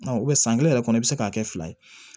san kelen yɛrɛ kɔnɔ i bi se k'a kɛ fila ye